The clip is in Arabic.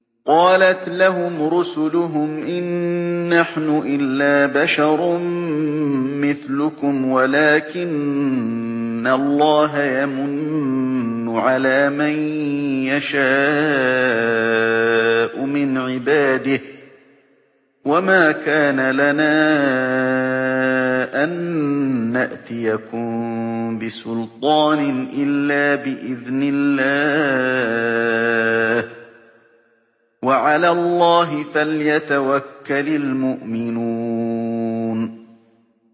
قَالَتْ لَهُمْ رُسُلُهُمْ إِن نَّحْنُ إِلَّا بَشَرٌ مِّثْلُكُمْ وَلَٰكِنَّ اللَّهَ يَمُنُّ عَلَىٰ مَن يَشَاءُ مِنْ عِبَادِهِ ۖ وَمَا كَانَ لَنَا أَن نَّأْتِيَكُم بِسُلْطَانٍ إِلَّا بِإِذْنِ اللَّهِ ۚ وَعَلَى اللَّهِ فَلْيَتَوَكَّلِ الْمُؤْمِنُونَ